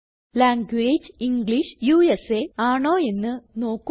language English US ആണോ എന്ന് നോക്കുക